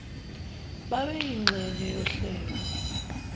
babe yingxenye yohlelo